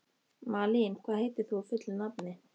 Malín, hvað heitir þú fullu nafni?